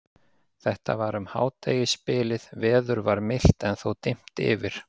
Þetta var um hádegisbilið, veður var milt en þó dimmt yfir.